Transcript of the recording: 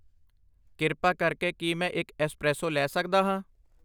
ਕਿਰਪਾ ਕਰਕੇ ਕੀ ਮੈਂ ਇੱਕ ਐਸਪ੍ਰੈਸੋ ਲੈ ਸਕਦਾ ਹਾਂ ?